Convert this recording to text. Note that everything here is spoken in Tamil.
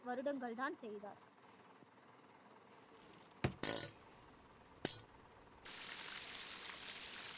வருடங்கள் தான் செய்தார்